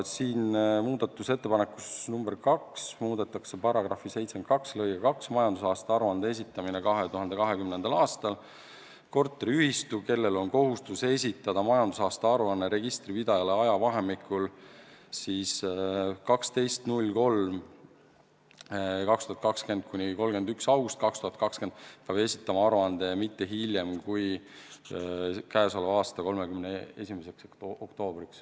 Muudatusettepanekuga nr 2 tahetakse muuta § 722 "Majandusaasta aruande esitamine 2020. aastal": korteriühistu, kellel on kohustus esitada majandusaasta aruanne registripidajale ajavahemikul 12.03.2020–31.08.2020, peab esitama aruande mitte hiljem kui käesoleva aasta 31. oktoobril.